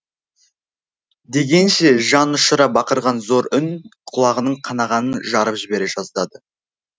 дегенше жан ұшыра бақырған зор үн құлағының қағанағын жарып жібере жаздады